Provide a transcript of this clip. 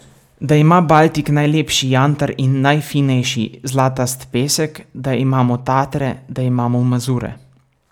Da ima Baltik najlepši jantar in najfinejši, zlatast pesek, da imamo Tatre, da imamo Mazure.